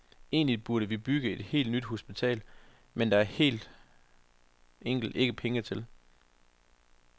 Egentlige burde vi bygge et helt nyt hospital, men det er der helt enkelt ikke penge til.